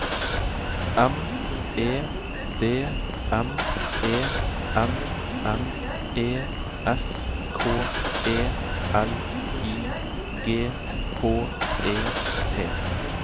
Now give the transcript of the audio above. M E D M E N N E S K E L I G H E T